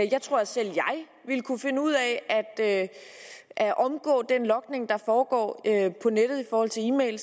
jeg tror at selv jeg ville kunne finde ud af at omgå den logning der foregår på nettet i forhold til e mail det